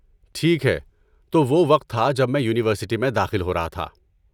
ٹھیک ہے، تو وہ وقت تھا جب میں یونیورسٹی میں داخل ہو رہا تھا۔